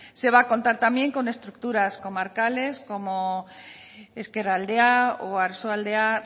se va a contar también con estructuras comarcales como ezkerraldea u oarsoaldea